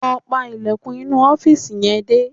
Lọ pa ilẹ̀kùn inú ọ́fìsì yẹn dé